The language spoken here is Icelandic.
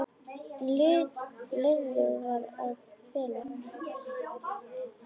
Lifrin var að bila.